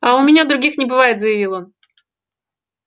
а у меня других не бывает заявил он